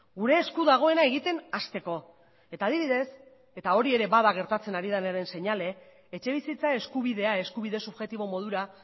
gure esku dagoena egiten hasteko eta adibidez eta hori ere bada gertatzen ari denaren seinale etxebizitza eskubidea eskubide subjektibo modura